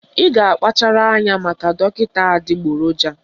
Ị ga-akpachara anya maka dọkịta adịgboroja